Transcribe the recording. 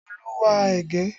Olú ń wa ẹ̀gẹ́